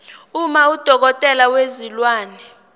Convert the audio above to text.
uma udokotela wezilwane